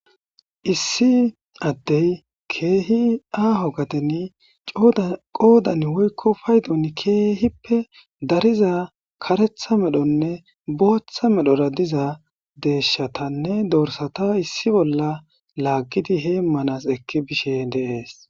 issi addey keehi aaho gaden qoodan woykko paydon keehippe dariza karetha medhonne booththa medhora diza deeshshatanne doorsata issi bolla laaggidi heemmanas ekki bishe deees